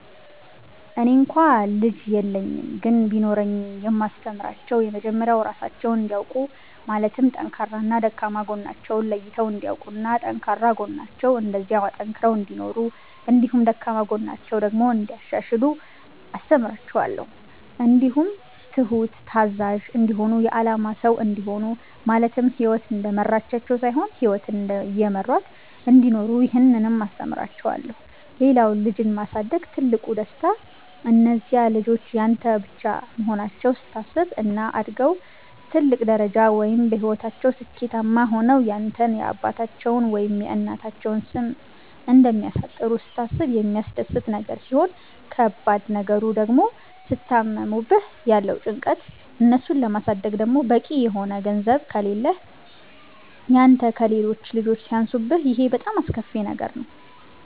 እኔ እንኳ ልጅ የለኝም ግን ቢኖረኝ የማስተምራቸዉ የመጀመሪያዉ ራሳቸዉን እንዲያዉቁ ማለትም ጠንካራና ደካማ ጎናቸዉን ለይተዉ እንዲያዉቁና ጠንካራ ጎናቸዉን እንደዚያዉ አጠንክረዉ እንዲኖሩ እንዲሁም ደካማ ጎናቸዉን ደግሞ እንያሻሽሉ አስተምራቸዋለሁ። እንዲሁም ትሁት፣ ታዛዥ፣ እንዲሆኑ የአላማ ሰዉ እንዲሆኑ ማለትም ህይወት እንደመራቻቸዉ ሳይሆን ህይወትን እየመሯት እንዲኖሩ ይህንንም አስተምራቸዋለሁ። ሌላዉ ልጅን ማሳደግ ትልቁ ደስታ እነዚያ ልጆች ያንተ ብቻ መሆናቸዉን ስታስብ፣ እና አድገዉ ትልቅ ደረጃ ወይም በህይወታቸዉ ስኬታማ ሆነዉ ያንተን የአባታቸዉን ወይም የእናታቸዉን ስም እንደሚያስጠሩ ስታስብ የሚያስደስት ነገር ሲሆን ከባድ ነገሩ ድግሞ ሲታመሙብህ ያለዉ ጭንቀት፣ እነሱን ለማሳደግ ደግሞ በቂ የሆነ ገንዘብ ከሌህ ያንተ ከሌሎች ልጆች ሲያንሱብህ ይሄ በጣም አስከፊ ነገር ነዉ።